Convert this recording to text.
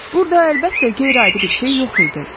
Burda əlbəttə qeyri-adi bir şey yox idi.